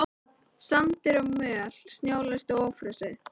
Sandur og möl snjólaust og ófrosið.